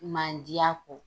Mandiya kɔ.